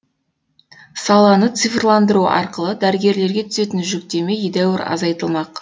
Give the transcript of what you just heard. саланы цифрландыру арқылы дәрігерлерге түсетін жүктеме едәуір азайтылмақ